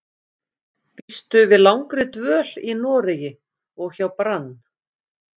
Býstu við langri dvöl í Noregi og hjá Brann?